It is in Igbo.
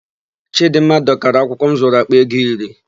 Chịdịmma dọkara akwụkwọ m zụrụ àkpà ego iri.